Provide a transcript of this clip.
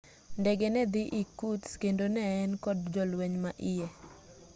ndege nedhi irkutsk kendo ne en kod jolweny ma iye